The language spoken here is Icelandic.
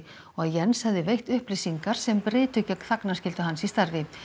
og að Jens hefði veitt upplýsingar sem brytu gegn þagnarskyldu hans í starfi